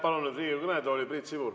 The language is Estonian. Palun Riigikogu kõnetooli Priit Sibula.